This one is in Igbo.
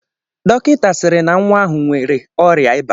Dọkịta sịrị na nwa ahụ nwere ọrịa iba